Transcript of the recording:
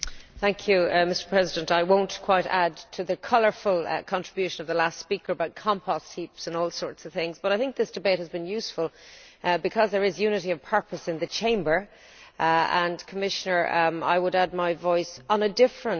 Mr President, I will not add to the colourful contribution of the last speaker about compost heaps and all sorts of things, but I think this debate has been useful because there is unity of purpose in the Chamber. Commissioner, I would add my voice on a different level.